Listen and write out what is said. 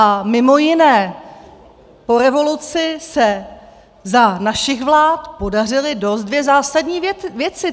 A mimo jiné po revoluci se za našich vlád podařily dvě dost zásadní věci.